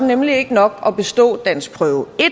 nemlig ikke nok at bestå danskprøve